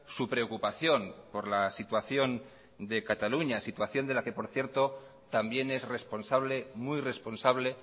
su preocupación por la situación de cataluña situación de la que por cierto también es responsable muy responsable